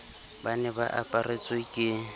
ba ne ba aparetswe ke